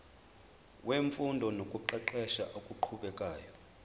wemfundo nokuqeqesha okuqhubekayo